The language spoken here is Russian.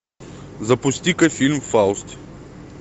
запусти ка фильм фауст